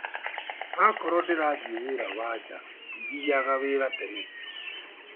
Akorwo ndĩrathi wĩra wa nja ndithiyaga wĩra tene.